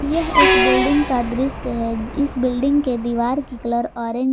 यह एक बिल्डिंग का दृश्य है इस बिल्डिंग के दीवार की कलर ऑरेंज --